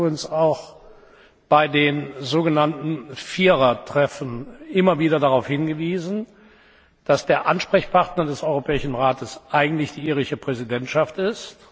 Ich habe übrigens auch bei den sogenannten Vierertreffen immer wieder darauf hingewiesen, dass der Ansprechpartner des Europäischen Rates eigentlich die irische Präsidentschaft ist.